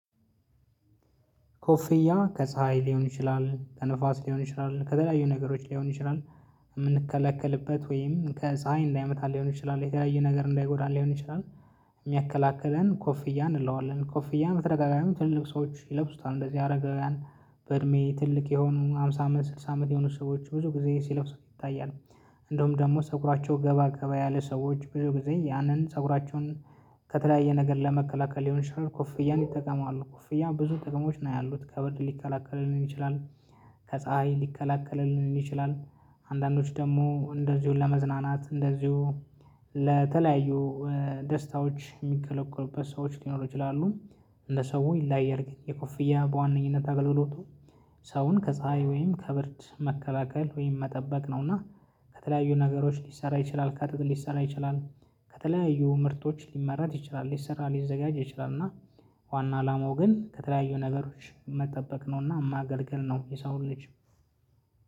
ኮፊያ ከፀሀይ ሊሆን ይችላል፣ ከንፋስ ሊሆን ይችላል ከተለያዩ ነገሮች ሊሆን ይችላል የምንከለከልበት ወይም ከፀሀይ እንዳያመታል ሊሆን ይችላል የተለያየ ነገር እንዳይጎዳን ሊሆን ይችላል የሚያከላክለን ኮፍያ እንለዋለን ኮፍያን በተደጋጋሚ ትልልቅ ሰዎች ይለብሱታል እንደዚህ አረጋውያን በእድሜ ትልቅ የሆኑ ሃምሳ አመት ስልሳ አመት የሆኑ ሰዎች ብዙ ጊዜ ሲለብሱት ይታያል። እንደውም ደግሞ ፀጉራቸው ገባ ገባ ያለ ሰዎች ብዙ ጊዜ ያንን ፀጉራቸውን ከተለያየ ነገር ለመከላከል ሊሆን ይችላል ኮፍያን ይጠቀማሉ። ኮፍያ ብዙ ጥቅሞች ነው ያሉት ከብርድ ሊከላከልልን ይችላል ከፀሀይ ሊከላከልልን ይችላል አንዳንዶች ደግሞ እንደዚሁ ለመዝናናት እንደዚሁ ለተለያዩ ደስታዎች የሚከለክሉበት ሰዎች ሊኖሩ ይችላሉ እንደ ሰው ይለያያል። የኮፍያ በዋነኝነት አገልግሎቱ ሰውን ከፀሀይ ወይም ከብርድ መከላከል ወይም መጠበቅ ነውና ከተለያዩ ነገሮች ሊሰራ ይችላል ከጥጥ ሊሰራ ይችላል፣ ከተለያዩ ምርቶች ሊመረጥ ይችላል ሊሰራ ሊዘጋጅ ይችላል እና ዋና አላማው ግን ከተለያዩ ነገሮች መጠበቅ ነውና ማገልገል ነው የሰውን ልጅ